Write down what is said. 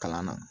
Kalan na